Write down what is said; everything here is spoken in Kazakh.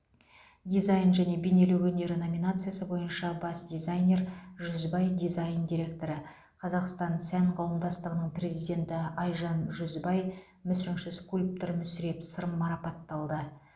дизайн және бейнелеу өнері номинациясы бойынша бас дизайнер жүзбай дизайн директоры қазақстан сән қауымдастығыны президенті айжан жүзбай мүсінші скульптор мүсіреп сырым марапатталды